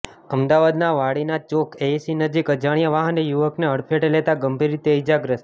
અમદાવાદના વાળીનાથ ચોક એઈસી નજીક અજાણ્યા વાહને યુવકને હડફેટે લેતા ગંભીર રીતે ઈજાગ્રસ્ત